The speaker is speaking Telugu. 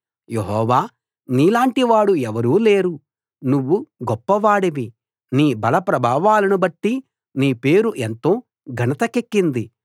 యెహోవా నీలాంటివాడు ఎవరూ లేరు నువ్వు గొప్పవాడివి నీ బల ప్రభావాలను బట్టి నీ పేరు ఎంతో ఘనతకెక్కింది